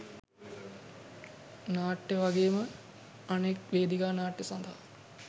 නාට්‍ය වගේම අනෙක් වේදිකා නාට්‍ය සඳහා